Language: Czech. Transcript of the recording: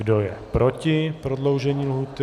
Kdo je proti prodloužení lhůty?